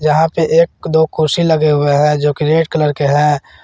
यहां पे एक दो कुर्सी लगे हुए हैं जो कि रेड कलर के हैं।